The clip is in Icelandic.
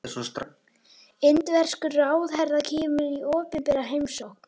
Indverskur ráðherra kemur í opinbera heimsókn